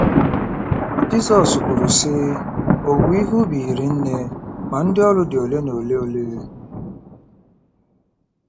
Jizọs kwuru, sị: “Owuwe ihe ubi hiri nne, ma ndị ọrụ dị ole na ole ole.